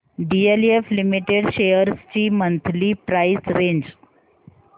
DLF limited shares ची monthly price range